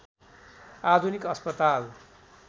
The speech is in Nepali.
आधुनिक अस्पताल